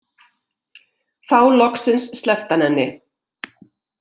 Þá loksins sleppti hann henni.